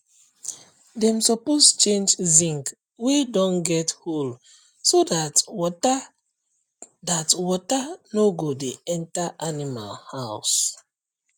dem suppose change zinc wey don get hole so dat water dat water no go dey enter animal house